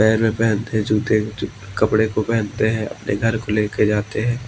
पैर में पहनते हैं जूते कपड़े को पहनते हैं अपने घर को ले के जाते हैं।